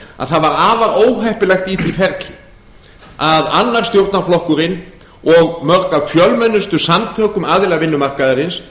það var afar óheppilegt í því ferli að annar stjórnarflokkurinn og mörg af fjölmennustu samtökum aðila vinnumarkaðarins